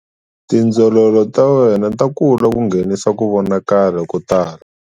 Tindzololo ta wena ta kula ku nghenisa ku vonakala ko tala.